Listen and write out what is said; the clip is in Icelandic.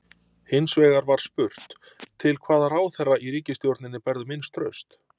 Hins vegar var spurt: Til hvaða ráðherra í ríkisstjórninni berðu minnst traust?